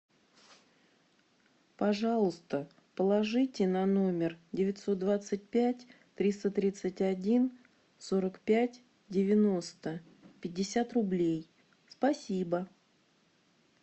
пожалуйста положите на номер девятьсот двадцать пять триста тридцать один сорок пять девяносто пятьдесят рублей спасибо